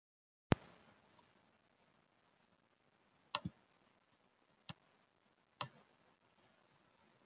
Þórhildur: Er þetta stærsti dagur ársins?